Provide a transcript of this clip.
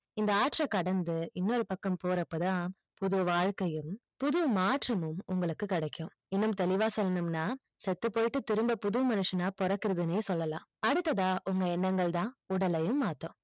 இந்த ஆற்று கடந்து இன்னொரு பக்கம் போற அப்பதான் புது வாழ்க்கையும் புது மாற்றமும் உங்களுக்கு கடைக்கும் இன்னும் தெளிவா சொல்லனும்னா செத்து போயிட்டு திரும்ப புது மனுஷனா பொறக்குறதுனே சொல்லலாம் அடுத்த அ உங்க எண்ணங்கள் தான் உடலையும் மாத்தும்